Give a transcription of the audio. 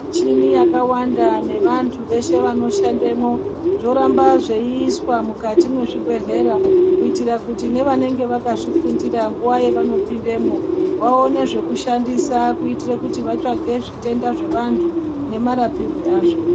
Michini yakawanda nevanthu veshe vanoshandemwo yoramba zveiiswa mukati mezvibhedhlera kuitira kuti nevanenge vakazvifundira nguwa yevanopindemwo vaone zvekushandisa kuitire kuti vatsvage zvitenda zvevanthu nemarapirwe azvo.